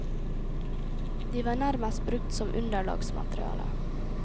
De var nærmest brukt som underlagsmateriale.